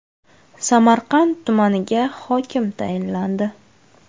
Samarqand tumaniga hokim tayinlandi.